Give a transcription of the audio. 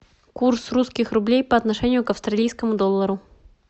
курс русских рублей по отношению к австралийскому доллару